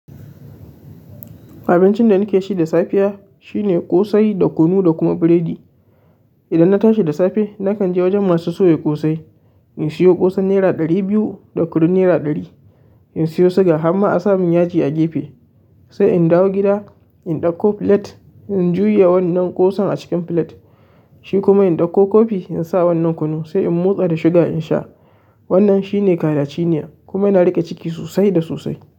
Abincin da nake ci da safiya shine ƙosai da kunu da kuma biredi. Idan na tashi da safe, na kan je wajen masu soya ƙosai in siyo ƙosan naira ɗari biyu da kunun naira ɗari. In siyo suga har ma a sa mun yaji a gefe. Sai in dawo gida, in ɗauko filet, in juya wannan ƙosan a cikin filet. Shi kuma in ɗauko kofi in sa wannan kunu sai in motsa da sugar in sha. Wannan shine kayan cina kuma yana riƙe ciki sosai da sosai.